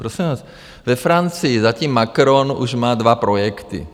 Prosím vás, ve Francii zatím Macron už má dva projekty.